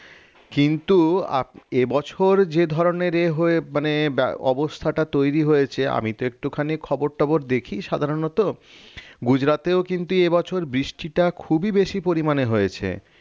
কিন্তু এ বছর যে ধরনের ইয়ে হয়ে মানে অবস্থাটা তৈরি হয়েছে আমি তো একটুখানি খবর-টবর দেখি সাধারণত গুজরাটেও কিন্তু এবছর বৃষ্টিটা খুবই বেশি পরিমাণে হয়েছে